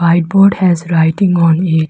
White board has writing on it.